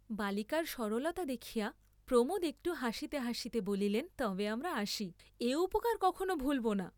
বালিকার সরলতা দেখিয়া প্রমোদ একটু হাসিতে হাসিতে বলিলেন, তবে আমরা আসি, এ উপকার কখনো ভুল্‌ব না।